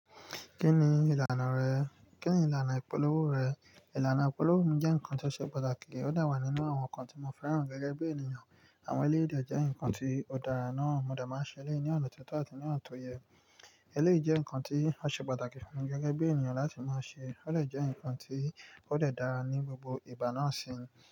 Kí ni ìlànà rẹ? Kí ni ìlànà ìpolówó rẹ̀? Ìlànà ìpolówó mi jẹ́ nǹkan tó ṣe pàtàkì, ó de wà nínú àwọn nǹkan tí mo fẹ́ràn gẹ́gẹ́ bí ènìyàn. Àwọn elé de jẹ́ ǹkan tí ó dára náà mo de máa ń ṣe elé ní ọ̀na tí o tọ́ àti ní ona to yẹ. Eléyi jẹ́ ǹkan tí a ṣe pàtàkì fún mi gẹ́gẹ́ bí ènìyàn láti máa ṣe. Ó lè jẹ́ ǹkan tí ó dẹ̀ dára ní gbogbo ìgba náà sì ni.